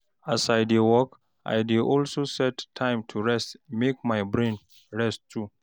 as I dey work, I dey also set time to rest mek my brain rest too